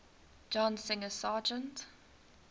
john singer sargent